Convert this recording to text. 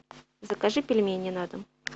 закажи пельмени на дом